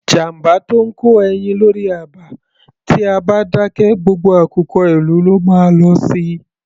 Jàmbá tó ńkó ẹyin lórí àba, tí a bá dákẹ, gbogbo àkùkọ ìlú ló má a lọ si.